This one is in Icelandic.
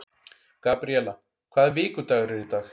Gabríela, hvaða vikudagur er í dag?